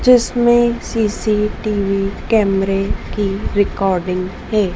जिसमें सी_सी_टी_वी कैमरे की रिकॉर्डिंग है।